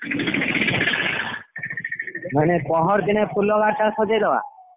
ମାନେ ପରଦିନ ଫୁଲ ଗାଡି ଟା ସଜେଇଦବା।